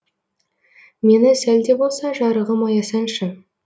мені сәл де болса жарығым аясаңшы